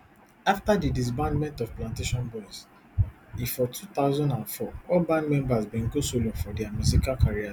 afta di disbandment of plantashun boyz ifor two thousand and four all band members bin go solo for dia musical careers